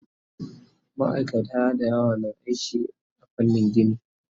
Maaikata da yawa na aiki a fannin gini